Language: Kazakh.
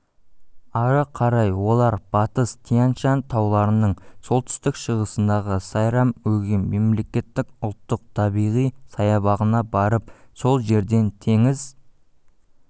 ары қарай олар батыс тянь-шань тауларының солтүстік-шығысындағы сайрам-өгем мемлекеттік ұлттық табиғи саябағына барып сол жерден теңіз